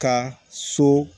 Ka so